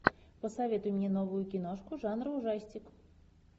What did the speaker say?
посоветуй мне новую киношку жанра ужастик